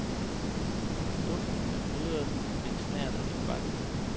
Duften er krydret med en snert af tobak.